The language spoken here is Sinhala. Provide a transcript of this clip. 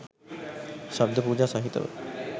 ශබ්ද පූජා සහිතව